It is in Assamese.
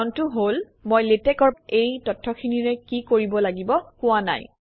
কাৰণটো হল মই লেটেকৰ এই তথ্যখিনিৰে কি কৰিব লাগিব কোৱাই নাই